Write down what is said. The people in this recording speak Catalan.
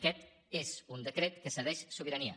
aquest és un decret que cedeix sobirania